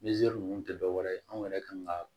Nizeri ninnu tɛ dɔwɛrɛ ye anw yɛrɛ kan ka